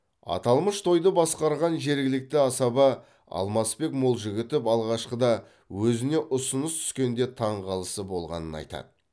аталмыш тойды басқарған жергілікті асаба алмасбек молжігітов алғашқыда өзіне ұсыныс түскенде таңғалысы болғаны айтады